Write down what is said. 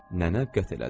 Nənə qət elədi.